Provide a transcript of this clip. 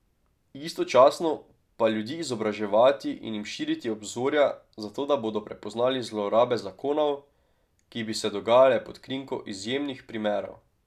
Istočasno pa ljudi izobraževati in jim širiti obzorja, zato da bodo prepoznali zlorabe zakonov, ki bi se dogajale pod krinko izjemnih primerov.